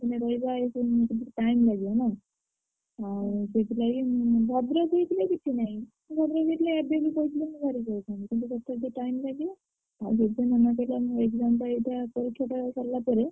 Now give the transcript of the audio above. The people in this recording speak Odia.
ମାନେ ରହିବା ମାନେ ଏ ସବୁ time ଲାଗିବନା ଭଦ୍ରକ ହେଇଥିଲେ ଏବେ ବି କହିଥିଲେ ମୁଁ ବାହାରିକି ଆଇଥାନ୍ତି କିନ୍ତୁ time ଲାଗିବ।